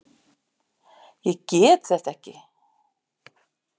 Ég get þetta ekki.